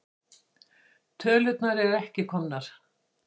Tölurnar eru ekki komnar.